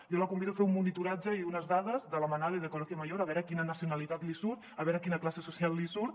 jo la convido a fer un monitoratge i unes dades de la manada i del colegio mayor a veure quina nacionalitat li surt a veure quina classe social li surt